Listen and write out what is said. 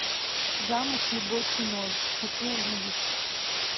замуж любой ценой хочу увидеть